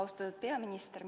Austatud peaminister!